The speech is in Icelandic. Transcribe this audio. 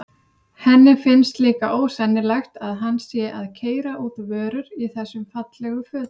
Henni finnst líka ósennilegt að hann sé að keyra út vörur í þessum fallegu fötum.